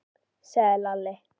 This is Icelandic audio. sagði Lalli.